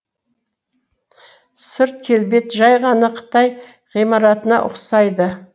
сырт келбеті жай ғана қытай ғимаратына ұқсайды